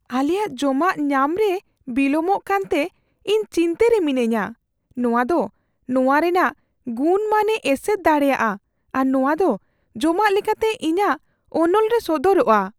ᱟᱞᱮᱭᱟᱜ ᱡᱚᱢᱟᱜ ᱧᱟᱢ ᱨᱮ ᱵᱤᱞᱚᱢᱚᱜ ᱠᱟᱱᱛᱮ ᱤᱧ ᱪᱤᱱᱛᱟᱹ ᱨᱮ ᱢᱤᱱᱟᱹᱧᱟ ᱾ ᱱᱚᱶᱟ ᱫᱚ ᱱᱚᱶᱟ ᱨᱮᱭᱟᱜ ᱜᱩᱱᱼᱢᱟᱱᱮ ᱮᱥᱮᱨ ᱫᱟᱲᱮᱭᱟᱜᱼᱟ ᱟᱨ ᱱᱚᱶᱟ ᱫᱚ ᱡᱚᱢᱟᱜ ᱞᱮᱠᱟᱛᱮ ᱤᱧᱟᱹᱜ ᱚᱱᱚᱞ ᱨᱮ ᱥᱚᱫᱚᱨᱚᱜᱼᱟ ᱾